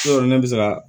Yɔrɔ ne bɛ se ka